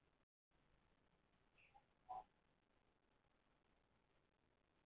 Sér að konan í hinu rúminu er að horfa á hann upp fyrir blaðið.